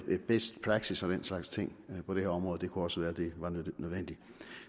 best practice og den slags ting på det her område det kunne også være at det var nødvendigt